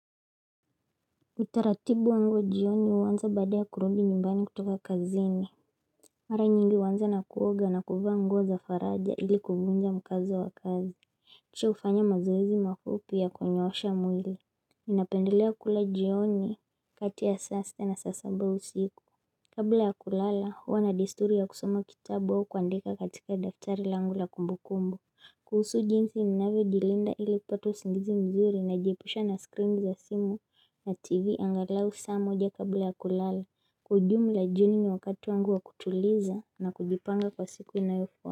Utaratibu wangu jioni huanzia baada ya kurudi nyumbani kutoka kazini Mara nyingi huanza na kuoga na kuva nguo za faraja ili kuvunja mkazo wa kazi Kisha hufanya mazoezi mafupi ya kunyoosha mwili Mimi ninapendelea kula jioni kati ya sasa na saa saba usiku Kabla ya kulala huwa na desturi ya kusoma kitabu au kuandika katika daftari langu la kumbu kumbu kuhusu jinsi ninavyo jilinda ili kupata usingizi mzuri najiepusha na screen za simu na tv angalau saa moja kabla ya kulala kwa ujumla jioni ni wakati wangu wa kutuliza na kujipanga kwa siku inayofuata.